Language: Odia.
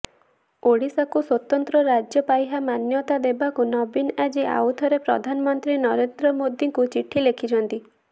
ଓଡ଼ିଶାକୁ ସ୍ୱତନ୍ତ୍ର ରାଜ୍ୟ ପାହ୍ୟା ମାନ୍ୟତା ଦେବାକୁ ନବୀନ ଆଜି ଆଉଥରେ ପ୍ରଧାନମନ୍ତ୍ରୀ ନରେନ୍ଦ୍ର ମୋଦିଙ୍କୁ ଚିଠି ଲେଖିଛନ୍ତି